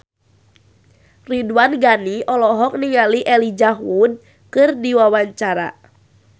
Ridwan Ghani olohok ningali Elijah Wood keur diwawancara